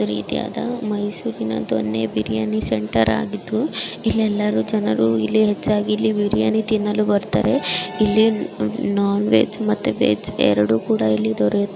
ಈ ರೀತಿಯಾದ ಮೈಸೂರಿನ ದೊಣ್ಣೆ ಬಿರಿಯಾನಿ ಸೆಂಟರ್ ಆಗಿದ್ದು ಇಲ್ ಎಲರು ಜನರು ಇಲ್ಲಿ ಬಿರಿಯಾನಿ ತಿನ್ನಲು ಬರ್ತಾರೆ ಇಲಿ ನಾನ್ವೇಜ್ ಮತ್ತೆ ವೆಜ್ ಎರಡು ಕೂಡ ಇಲ್ಲಿ ದೊರೆಯುತ್ತದೆ.